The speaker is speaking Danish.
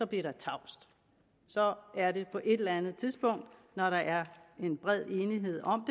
blev der tavst så er det på et eller andet tidspunkt når der er en bred enighed om